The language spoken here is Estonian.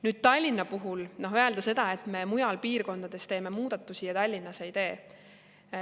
Nüüd, Tallinna puhul öelda, et me mujal piirkondades teeme muudatusi, aga Tallinnas ei tee.